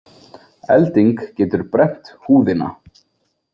Elding getur brennt húðina.